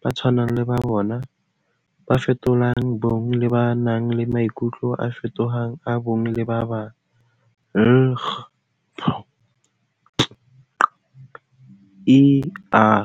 bo tshwanang le ba bona, ba fetolang bong le ba nang le maikutlo a feto-fetohang a bong le ba bang, LGBTQIA+.